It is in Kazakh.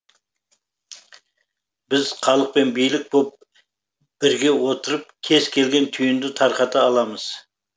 біз халық пен билік боп бірге отырып кез келген түйінді тарқата аламыз